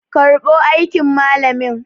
karbo aikin malamin!